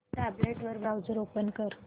tablet वर browser open कर